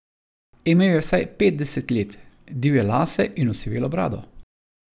Imel je vsaj petdeset let, divje lase in osivelo brado.